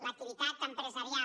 l’activitat empresarial